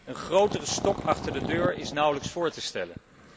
Een grotere stok achter de deur is nauwelijks voor te stellen.